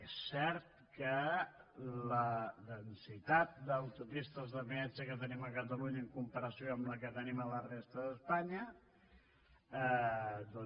és cert que la densitat d’autopistes de peatge que tenim a catalunya en comparació amb la que tenim a la resta d’espanya doncs